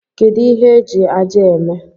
Kedụ ihe eji ájá a eme?